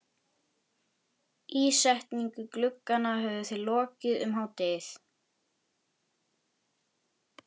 Ísetningu glugganna höfðu þeir lokið um hádegið.